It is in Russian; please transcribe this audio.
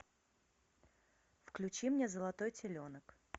включи мне золотой теленок